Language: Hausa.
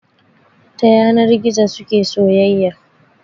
Ta yanar gizo suke soyayya